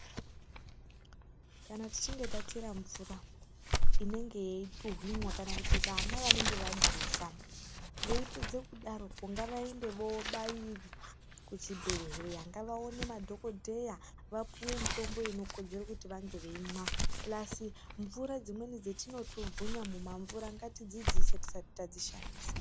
Kana tichinge tachera mvura, inenge yeituhwinwa kana kuti vana vanenge vadhuvha, veipedze kudaropo, ngavaende vobairwa kuchibhedhleya. Ngavaone madhokodheya vapuwe mutombo inokodzere kuti vange veimwa, pulasi mvura dzimweni dzetinotubvunya mumamvura, ngatidzidziise tisati tadzishandisa.